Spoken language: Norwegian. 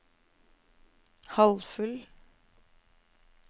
halvfull